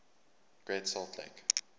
great salt lake